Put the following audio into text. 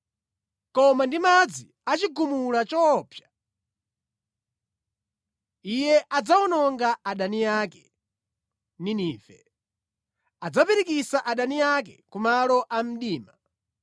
koma ndi madzi achigumula choopsa Iye adzawononga adani ake (Ninive); adzapirikitsira adani ake ku malo a mdima.